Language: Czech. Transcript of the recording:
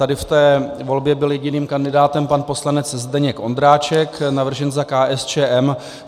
Tady v té volbě byl jediným kandidátem pan poslanec Zdeněk Ondráček, navržen za KSČM.